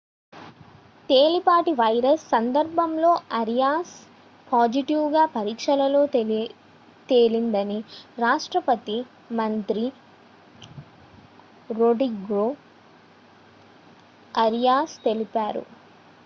తేలికపాటి వైరస్ సందర్భంలో Arias positive గా పరీక్షలో తేలిందని రాష్ట్రపతి మంత్రి రోడ్రిగో అరియాస్ తెలిపారు